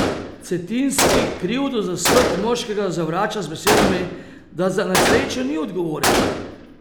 Cetinski krivdo za smrt moškega zavrača z besedami, da za nesrečo ni odgovoren.